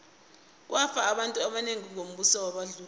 kwafa abantu abanengi ngombuso webandlululo